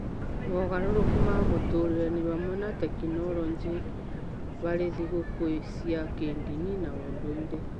Mogarũrũku ma mũtũũrĩre nĩ hamwe na tekinoronjĩ harĩ thigũkũ cia kĩĩndini na ũndũire.